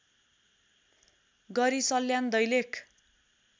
गरी सल्यान दैलेख